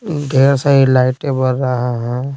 ढेर सारी लाइट एबर रहा है।